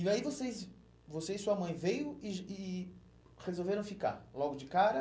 E aí vocês, você e sua mãe veio e e e resolveram ficar logo de cara?